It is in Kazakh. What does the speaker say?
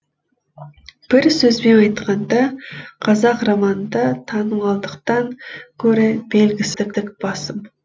бір сөзбен айтқанда қазақ романында танымалдықтан гөрі белгісіздік басым